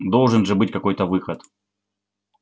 должен же быть какой-то выход